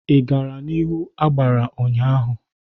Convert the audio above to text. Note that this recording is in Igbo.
Ị gara n'ihu agbara ụnyaahụ?